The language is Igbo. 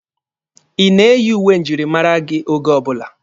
Ị na-eyi uwe njirimara oge ọbụla?